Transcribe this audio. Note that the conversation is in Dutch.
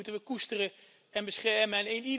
Die moeten we koesteren en beschermen.